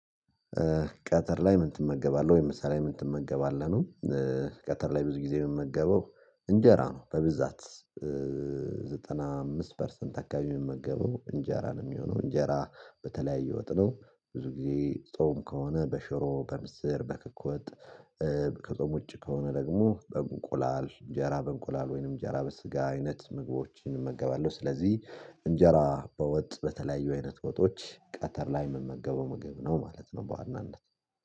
ቀተር ላይ ምን ትመገባለህ ወይም ምሳ ላይ ምን ትመገባለህ ነው? ቀተር ላይ ብዙ ጊዜ የምመገበው እንጀራ ነው በብዛት ዘጠና አምስት ፐርሰንት አካባቢ የምመገበው እንጀራ ነው የሚሆነው እንጀራ በተለያየ ወጥነው ብዙ ጊዜ ጾም ከሆነ በሽሮ በምስር በክክ ወጥ ከጾም ዉጭ ከሆነ ደግሞ በእንቁላል እንጀራ በእንቁላል ወይንም እንጀራ በስጋ አይነት ምግቦችን እመገባለሁ ስለዚህ እንጀራ በወጥ በተለያዩ አይነት ወጦች ቀተር ላይ ምመገበው ምግብ ነው ማለት ነው። በዋናነት